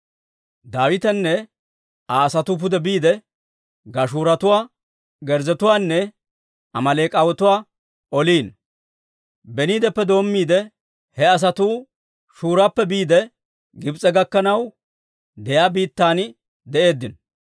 Daawitenne Aa asatuu pude biide, Gashuuratuwaa, Girzzetuwaanne Amaaleek'atuwaa oliino. Beniideppe doommiide, he asatuu Shurappe biide Gibs'e gakkanaw de'iyaa biittan de'eeddino.